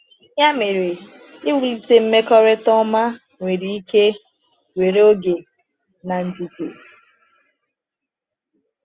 Ya mere, iwulite mmekọrịta ọma nwere ike were oge na ndidi.